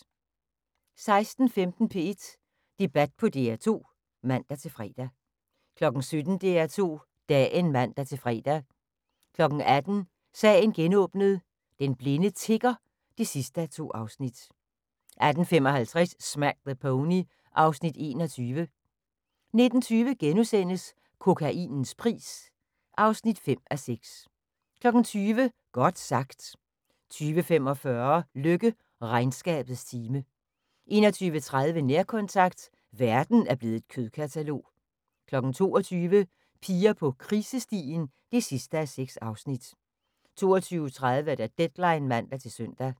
16:15: P1 Debat på DR2 (man-fre) 17:00: DR2 Dagen (man-fre) 18:00: Sagen genåbnet: Den blinde tigger (2:2) 18:55: Smack the Pony (Afs. 21) 19:20: Kokainens pris (5:6)* 20:00: Godt sagt 20:45: Løkke: Regnskabets time 21:30: Nærkontakt – verden er blevet et kødkatalog 22:00: Piger på krisestien (6:6) 22:30: Deadline (man-søn)